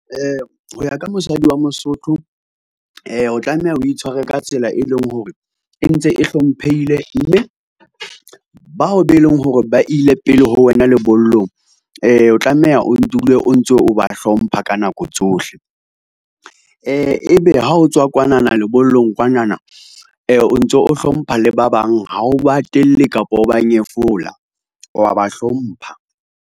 Ho ya ka mosadi wa mosotho o tlameha, o itshware ka tsela e leng hore e ntse e hlomphehile. Mme bao be leng hore ba ile pele ho wena lebollong o tlameha o dule o ntso o ba hlompha ka nako tsohle. E be ha o tswa kwanana lebollong kwanana o ntso o hlompha le ba bang ha o ba hatelle kapa o ba nyefola, wa ba hlompha.